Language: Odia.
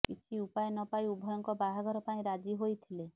କିଛି ଉପାୟ ନପାଇ ଉଭୟଙ୍କ ବାହାଘର ପାଇଁ ରାଜି ହୋଇଥିଲେ